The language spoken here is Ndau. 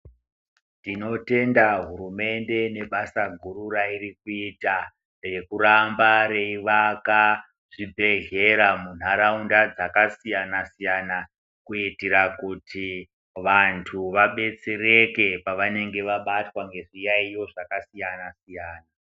Tinotenda hurumende ne basa guru rairi kuita rekuramba rei waka zvi bhedhlera mu nharaunda dzaka siyana siyana kuitira kuti vantu vadetsereke pavanenge vabatwa nge zviyayiyo zvaka siyana siyana.